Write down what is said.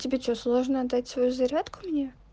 тебе что сложно отдать свою зарядку мне